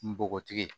Npogotigi ye